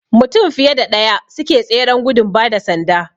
Mutum fiye da ɗaya suke tseren gudun bada sanda